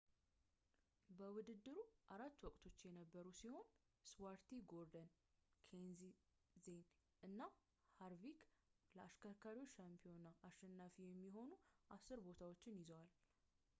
በውድድሩ አራት ወቅቶችች የቀሩ ሲሆን ስቲዋርት ጎርደን ኬንሴዝ እና ሃርቪክ ለአሽከርካሪዎች ሻምፒዮና አሸናፊ የሚሆኑ አስር ቦታዎችን ይዘዋል